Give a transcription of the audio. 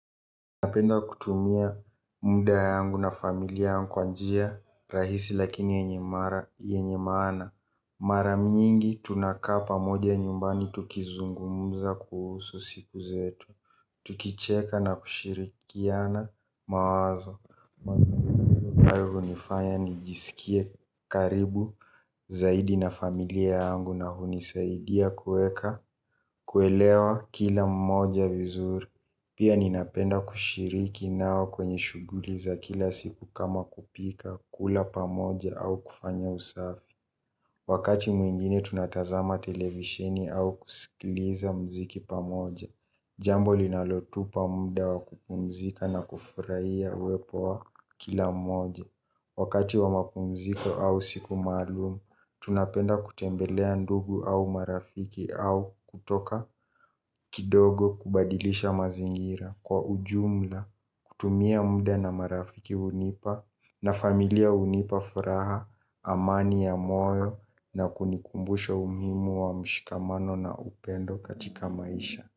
Napenda kutumia muda yangu na familia yangu kwa njia rahisi lakini yenye mara yenye maana mara mingi tunakaa pamoja nyumbani tukizungumza kuhusu siku zetu. Tukicheka na kushirikiana mawazo ambayo hunifanya nijisikie karibu zaidi na familia yangu na hunisaidia kuweka kuelewa kila mmoja vizuri, pia ninapenda kushiriki nao kwa shughuli nao kwenye. Shughuli za kila siku kama kupika, kula pamoja au kufanya usafi. Wakati mwingine tunatazama televisheni au kusikiliza muziki pamoja. Jambo linalotupa muda wa kupumzika na kufurahia uwepo wa kila mmoja. Wakati wa mapumziko au siku maalumu, tunapenda kutembelea ndugu au marafiki au kutoka kidogo kubadilisha mazingira. Kwa ujumla kutumia muda na marafiki hunipa na familia hunipa furaha amani ya moyo na kunikumbusha umuhimu wa mshikamano na upendo katika maisha.